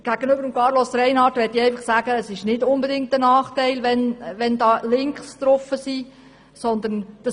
Zu Grossrat Reinhart möchte ich einfach sagen, dass es nicht unbedingt ein Nachteil ist, wenn auf dieser Webseite Links vorhanden sind.